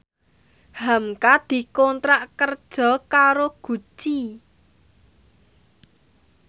hamka dikontrak kerja karo Gucci